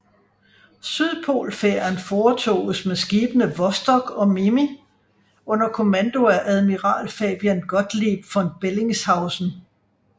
Sydpolfærden foretoges med skibene Vostok og Mirni under kommando af admiral Fabian Gottlieb von Bellingshausen